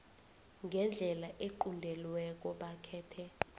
ngendlela equntelweko bakhethe